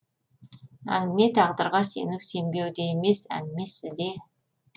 әңгіме тағдырға сену сенбеуде емес әңгіме сізде